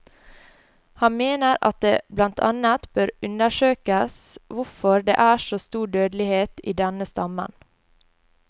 Han mener at det blant annet bør undersøkes hvorfor det er så stor dødelighet i denne stammen.